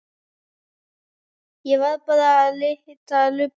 Ég var bara að lita lubbann.